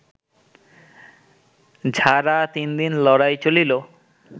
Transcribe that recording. ঝাড়া তিনদিন লড়াই চলিল